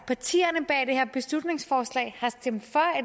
partierne bag det her beslutningsforslag har stemt for